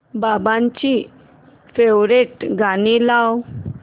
बाबांची फेवरिट गाणी लाव